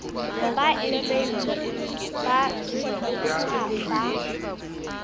ba ntseng ba thuthuha ba